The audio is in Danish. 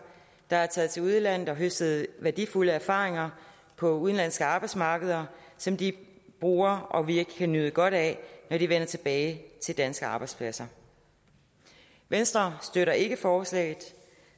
der er taget til udlandet og har høstet værdifulde erfaringer på udenlandske arbejdsmarkeder som de bruger og som vi kan nyde godt af når de vender tilbage til danske arbejdspladser venstre støtter ikke forslaget